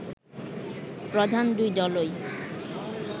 প্রধান দুই দলই